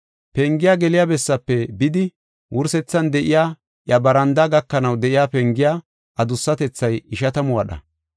Pengiya geliya bessaafe bidi, wursethan de7iya iya barandaa gakanaw de7iya pengiya adussatethay ishatamu wadha.